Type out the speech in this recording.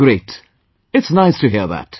Great... it's nice to hear that